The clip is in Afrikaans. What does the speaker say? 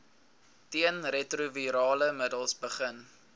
teenretrovirale middels begin